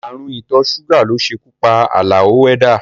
Ààrùn ìtọ́ ṣúgà ló ṣekú pa Àlàó wẹ́dà